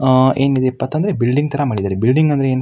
ಆಹ್ಹ್ ಏನಿದೆ ಇಪ್ಪತ್ತ್ ಅಂದ್ರೆ ಬಿಲ್ಡಿಂಗ್ ತರ ಮಾಡಿದ್ದಾರೆ ಬಿಲ್ಡಿಂಗ್ ಅಂದ್ರೆ ಏನು --